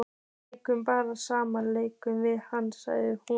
Við leikum bara sama leikinn við hann, sagði hún.